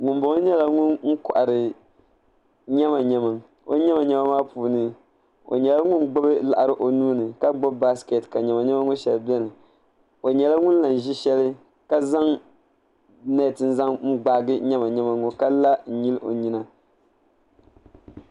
ŋunboŋo nyɛla ŋun kohari nyɛma nyɛma o nyɛma nyɛma maa puuni o nyɛla ŋun gbubi laɣari o nuuni ka gbubi baskɛt ka nyɛma nyɛma ŋo shɛli biɛni o nyɛla ŋun lahi ʒi shɛli ka zaŋ nɛt zaŋ gbaagi nyɛma nyɛma ŋo ka la n nyili o nyina